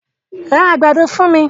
Ra àgbàdo fún mi!